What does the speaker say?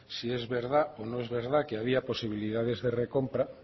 si es verdad o no es verdad que había posibilidad de recompra